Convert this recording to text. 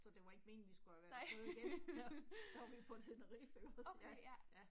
Så det var ikke meningen vi skulle have været afsted igen, der, der var vi på Tenerife ikke også, ja, ja